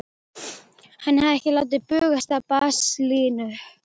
Hann hafði ekki látið bugast af baslinu.